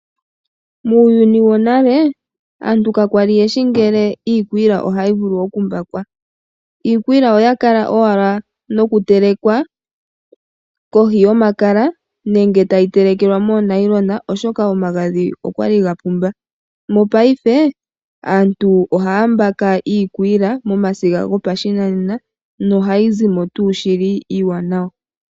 Muuyuni wonale aantu kakwali yeshi ngele iikwila ohayi vulu oku mbakwa. Iikwila oyakala owala nokutelekwa kohi yomakala nenge tayi telekelwa moonayilona oshoka omagadhi okwali ga pumba. Mopayife aantu ohaya mbaka iikwila momasiga gopashinanena no hayi zimo tuu shili iiwanawa.